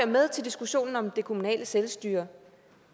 med til diskussionen om det kommunale selvstyre